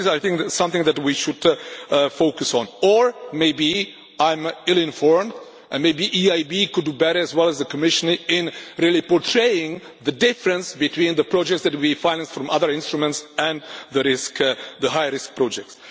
I think this is something that we should focus on or maybe I am ill informed and maybe the EIB could do better, as well as the Commissioner, in really portraying the difference between the projects that we finance from other instruments and the high risk projects.